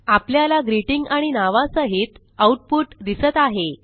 आपल्याला ग्रीटिंग आणि नावासहित आऊटपुट दिसत आहे